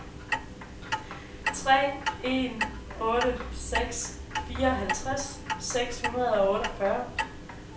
tre en otte seks fireoghalvtreds seks hundrede og otteogfyrre